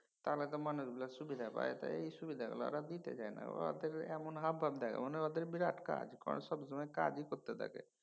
তাহলে তো মানুষগুলা সুবিধা তো পায় তো এই সুবিধাগুলো ওরা দিতে চায়না ওরা এমন হাবভাব দেখায় যেন ওদের বিরাট কাজ। যেন সবসময় কাজই করতে থাকে।